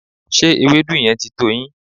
Ṣé ewedu yẹn ti tó yín?